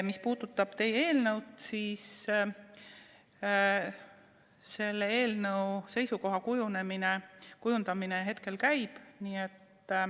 Mis puudutab teie eelnõu, siis selle kohta seisukoha kujundamine hetkel käib.